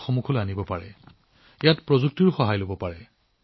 আপোনালোকে প্ৰযুক্তিবিদ্যাৰো যথেষ্ট সহায় লব পাৰে